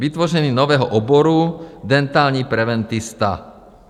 Vytvoření nového oboru dentální preventista.